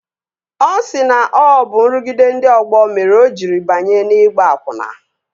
Ọ sị na ọ bụ nrụgide ndị ọgbọ mere o jiri banye n'ịgba akwụna